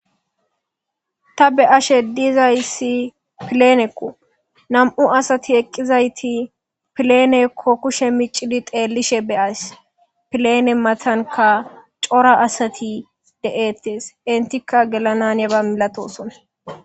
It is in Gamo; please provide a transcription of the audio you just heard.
Ta be'ashe dizays planeko , nam'u asat eqizayt planeko kilushe micid xelishe be'ays, plane matanka cora asati de'etes, entika gelana haniyaba milatisona.